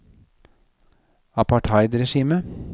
apartheidregimet